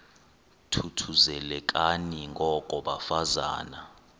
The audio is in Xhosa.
thuthuzelekani ngoko bafazana